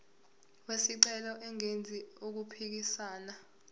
wesicelo engenzi okuphikisana